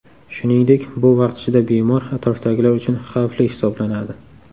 Shuningdek, bu vaqt ichida bemor atrofdagilar uchun xavfli hisoblanadi.